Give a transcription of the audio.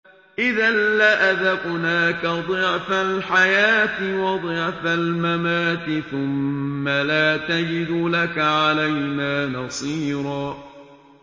إِذًا لَّأَذَقْنَاكَ ضِعْفَ الْحَيَاةِ وَضِعْفَ الْمَمَاتِ ثُمَّ لَا تَجِدُ لَكَ عَلَيْنَا نَصِيرًا